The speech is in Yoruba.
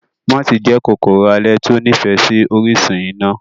Mooti jẹ́ kòkòrò alẹ́ tí ó nífẹ̀ẹ́ sí orísun iná.